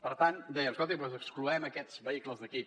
per tant dèiem escolti doncs excloem aquests vehicles d’aquí